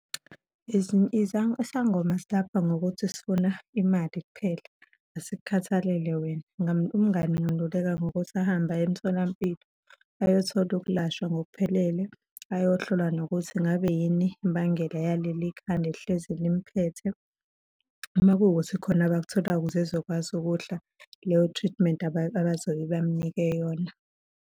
Isangoma silapha ngokuthi sifuna imali kuphela, asikukhathalele wena. Umngani ngingamluleka ngokuthi ahambe aye emtholampilo ayothola ukulashwa ngokuphelele, ayohlolwa nokuthi ngabe yini imbangela yaleli khanda elihlezi limphethe. Uma kuwukuthi khona abakutholayo ukuze ezokwazi ukudla leyo treatment abazobe bamnike yona.